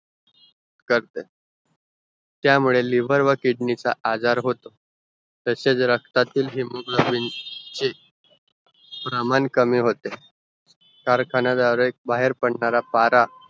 करते त्या मुले liver व kidney चा आजार होतो तसेचं रक्तातील hemoglobin एक प्रमाण कमी होते कारखाने आरेक बाहेर पडणारा पारा